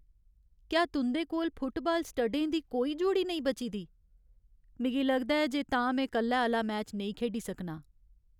क्या तुं'दे कोल फुटबाल स्टडें दी कोई जोड़ी नेईं बची दी ? मिगी लगदा ऐ जे तां में कल्लै आह्‌ला मैच नेईं खेढी सकना।